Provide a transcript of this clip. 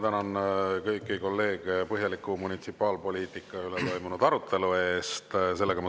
Tänan kõiki kolleege põhjaliku munitsipaalpoliitika üle toimunud arutelu eest!